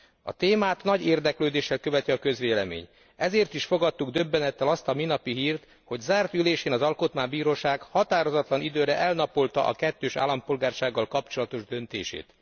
A témát nagy érdeklődéssel követi a közvélemény, ezért is fogadtuk döbbenettel azt a minapi hírt, hogy zárt ülésén az Alkotmánybíróság határozatlan időre elnapolta a kettős állampolgársággal kapcsolatos döntését.